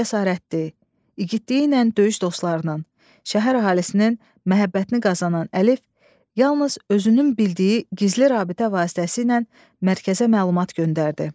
Cəsarəti, igidliyi ilə döyüş dostlarının, şəhər əhalisinin məhəbbətini qazanan Əlif yalnız özünün bildiyi gizli rabitə vasitəsilə mərkəzə məlumat göndərdi.